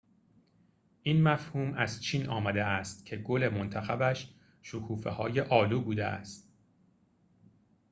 این مفهوم از چین آمده است که گل منتخبش شکوفه‌های آلو بوده است